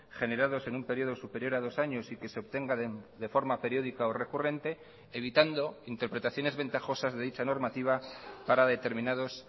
generados en un periodo superior a dos años y que se obtenga de forma periódica o recurrente evitando interpretaciones ventajosas de dicha normativa para determinados